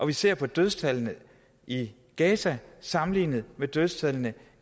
vi ser på dødstallene i gaza sammenlignet med dødstallene